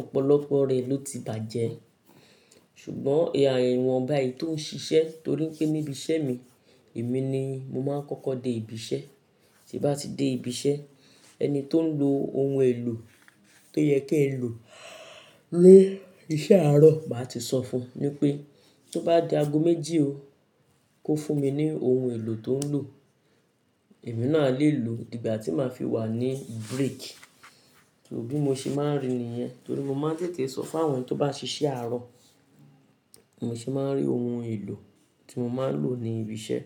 ọ̀pọ̀lọpọ̀ rẹ̀ ló ti bàjẹ́. Ṣùgbọ́n ài- iwọ̀n bá e tóń ṣiṣẹ́ torí pé níbi iṣẹ́ mi, èmi ni mo máa ń kọ́kọ́ dé ibi iṣẹ́, tín bá ti dé ibi iṣẹ́ ẹni tóń lo oun èlò tó yẹ kín lò ní iṣẹ́ àárọ̀, màá ti sọ fún un wipé tó bá di ago méjì o, kó fún mi ní oun èlò tó ń lò, èmi náà a lè lò dígbà tí màá fi wà ní break. So bí mo ṣe máa ń ri ni yẹn, torí mo máa ń tètè sọ fún àwọn tó bá ṣiṣẹ́ àárọ̀, bi mo ṣe máa ń rí oun èlò tí mo máa ń lò ní ibi iṣẹ́.